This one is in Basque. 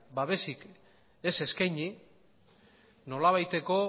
babesik ez eskaini nolabaiteko